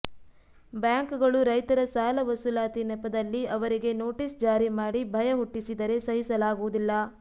bank ಗಳು ರೈತರ ಸಾಲ ವಸೂಲಾತಿ ನೆಪದಲ್ಲಿ ಅವರಿಗೆ ನೋಟೀಸ್ ಜಾರಿ ಮಾಡಿ ಭಯ ಹುಟ್ಟಿಸಿದರೆ ಸಹಿಸಲಾಗುವುದಿಲ್ಲ